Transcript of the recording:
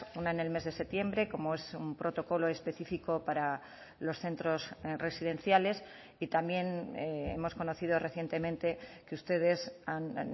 una en el mes de septiembre como es un protocolo específico para los centros residenciales y también hemos conocido recientemente que ustedes han